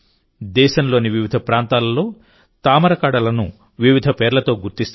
దేశంలోని వివిధ ప్రాంతాలలో తామర కాడలను వివిధ పేర్లతో గుర్తిస్తారు